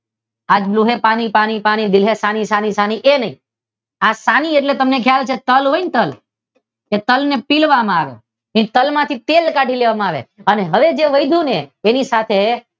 આજ તું હે પાણી પાણી દિન હે સાની સાની એ નહીં. આ સાની એટલે તમને ખ્યાલ છે તલ હોય ને તલ ને પિલવામાં આવે એ તલમાંથી તેલ કાઢી લેવામાં આવે, અને હવે જે વધુ ને તેની સાથે